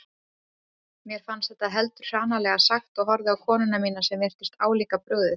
Mér fannst þetta heldur hranalega sagt og horfði á konuna mína sem virtist álíka brugðið.